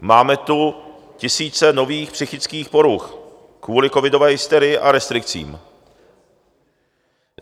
Máme tu tisíce nových psychických poruch kvůli covidové hysterii a restrikcím.